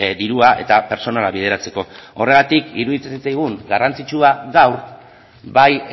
dirua eta pertsonala bideratzeko horregatik iruditzen zitzaigun garrantzitsua gaur bai